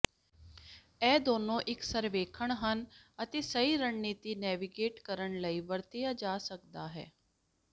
ਇਹ ਦੋਨੋ ਇੱਕ ਸਰਵੇਖਣ ਹੈ ਅਤੇ ਸਹੀ ਰਣਨੀਤੀ ਨੈਵੀਗੇਟ ਕਰਨ ਲਈ ਵਰਤਿਆ ਜਾ ਸਕਦਾ ਹੈ